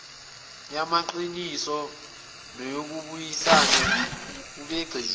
yamaqiniso nokubuyisana ebigxile